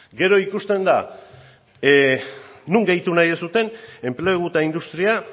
gero ikusten da non gehitu nahi duzuen enplegu eta industria